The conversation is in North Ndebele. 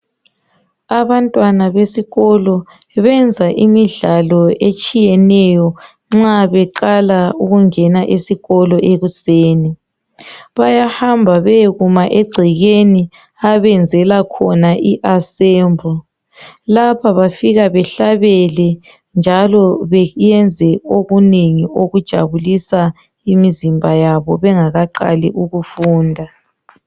Abantwana besikolo benza imidlalo etshiyeneyo nxa beqala ukungena esikolo ekuseni .Bayahamba bayekuna egcekeni abenzela khona I assembly lapha bafika bahlabele njalo bayenze okunengi okujabulisa imizimba yabo bengakaqali ukufunda.